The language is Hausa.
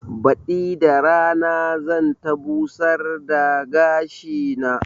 Baɗi da rana zan ta busar da gashi na